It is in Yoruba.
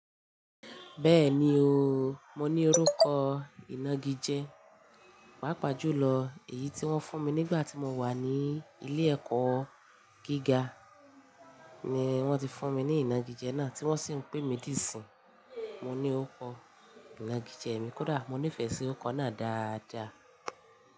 Bẹ́ẹ̀ni o, mo ní orúkọ ìnagijẹ. Pàápàá jùlọ èyí tí wón fún mi nígbà tí mo wà ní ilé ẹ̀kọ́ gíga ni wón ti fún mi ní ìnagijẹ náà tí wọ́n sì ń pè mí dí ìsìn. Mo ní orúkọ ìnagijẹ mi kódà mo nífẹsí orúkọ náà dáadáa.